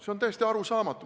See on täiesti arusaamatu.